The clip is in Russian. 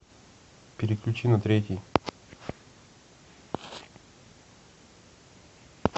переключи на третий